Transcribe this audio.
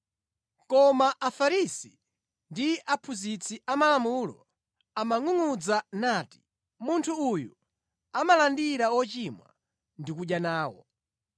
Koma Afarisi ndi aphunzitsi amalamulo amangʼungʼudza nati, “Munthu uyu amalandira ochimwa ndi kudya nawo.”